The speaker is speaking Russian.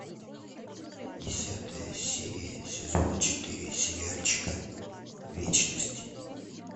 десятая серия сезона четыре сериальчика вечность